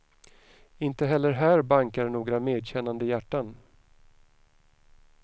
Inte heller här bankar några medkännande hjärtan.